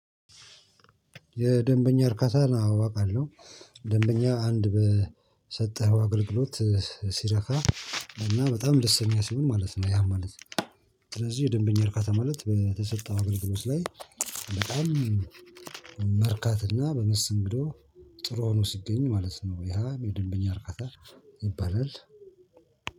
የደንበኛ እርካታ አዎ አቃለሁ። ደንበኛ አንድ በሰጠኸው አገልግሎት ሲረካ እና በጣም ደስተኛ ሲሆን ማለት ነው ያ ማለት። ስለዚህ የደንበኛ እርካታ ማለት በተሰጠው አገልግሎት ላይ በጣም መርካትና በመሰተንግዶ ጥሩ ሆኖ ሲገኝ ማለት ነው ያ የደንበኛ አርካታ ይባላል።